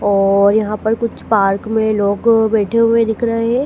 और यहां पर कुछ पार्क में लोग बैठे हुए दिख रहे--